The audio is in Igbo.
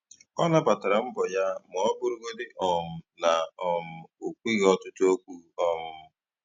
Ọ nabatara mbọ ya ma ọ bụrụgodị um na um - o kwughi ọtụtụ okwu um